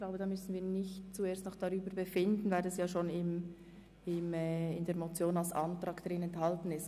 Ich denke, wir müssen nicht über dieses Vorgehen befinden, weil es in der Motion bereits als Antrag enthalten ist.